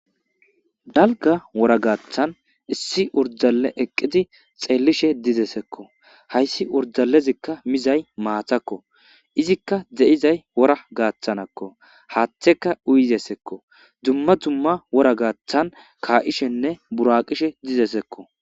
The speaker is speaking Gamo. dalga wora gaaththan issi urdale eqqidi xeellishe dizesekko hayssi urdalezikka mizay maatakko izikka de7izay wora gaaththanakko haaththeka uyizesekko dumma dumma wora gaaththan kaa7ishenne buraqishe dizesekko